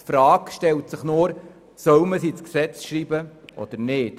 Es stellt sich lediglich die Frage, ob man diesen Passus ins Gesetz aufnehmen soll oder nicht.